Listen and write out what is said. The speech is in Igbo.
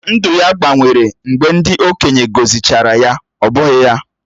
Ndụ ya gbanwere mgbe ndị okenye gọzịchara ya, ọ́ bụghị ya?